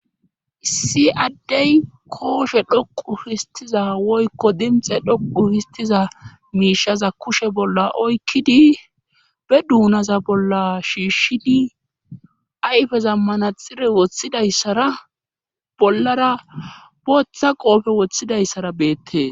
Issi addey kooshshe dhooqu histiza woykko dimxe dhoqu histiza miishaza kushe bolla oykkidi be dunaza bolla shiishshini ayfezan manaxire woththidayssara bollara booththa qoofe woththidayssara beettees